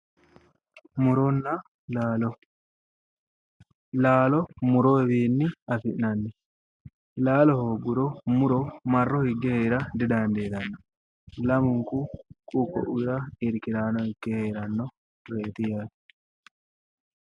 Muronna laalo, laalo muroyiwi afi'nanni laalo hoogguro muro marro higge hee'ra didandiitanno, laminku ku"u ko'ira irkiraano ikke hee'rannoreeti yaate.